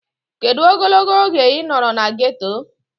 Kedụ ogologo oge ị nọrọ na geeto?